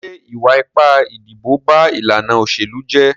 Ṣé ìwà ipá ìdìbò ba ìlànà òṣèlú jẹ́?